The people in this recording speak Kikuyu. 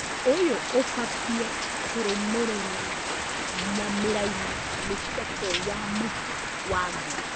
ũyũ ũbatie kũrũmĩrĩrwo na mĩraini mĩceke ya mũhu wa ngũ